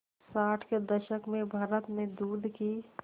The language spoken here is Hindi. साठ के दशक में भारत में दूध की